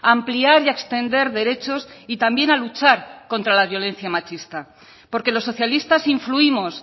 a ampliar y extender derechos y también a luchar contra la violencia machista porque los socialistas influimos